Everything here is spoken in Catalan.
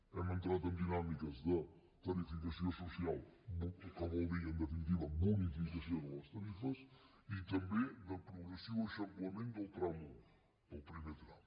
hem entrat en dinàmiques de tarificació social que vol dir en definitiva bonificació de les tarifes i també de progressiu eixamplament del tram un del primer tram